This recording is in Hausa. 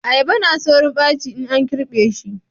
ayaba na saurin baci in an girbe shi